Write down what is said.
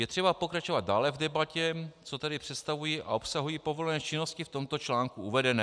Je třeba pokračovat dále v debatě, co tedy představují a obsahují povolené činnosti v tomto článku uvedené.